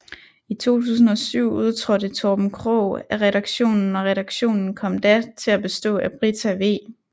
I 2007 udtrådte Torben Krogh af redaktionen og redaktionen kom da til at bestå af Brita V